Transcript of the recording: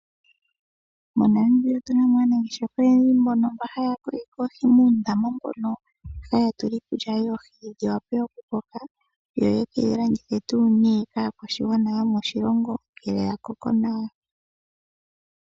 MoNamibia otuna mo aanangeshefa oyendji mbono mba haya koleke oohi muundama mbono haya tula iikulya yoohi dhi wape oku koka, yo ye kedhi landithe tuu nee kaakwashigwana yomoshilongo ngele ya koko nawa.